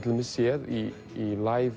séð í